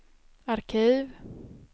arkiv